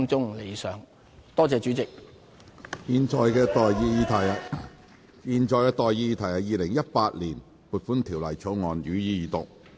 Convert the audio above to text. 我現在向各位提出的待議議題是：《2018年撥款條例草案》，予以二讀。